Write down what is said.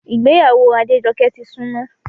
Ìgbéyàwó Adéjọkẹ́ ti súnmọ́